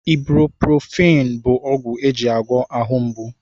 Ibruprofeni bụ ọgwụ eji agwọ ahụ mgbu